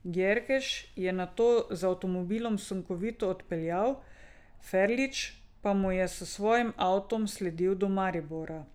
Gjerkeš je nato z avtomobilom sunkovito odpeljal, Ferlič pa mu je s svojim avtom sledil do Maribora.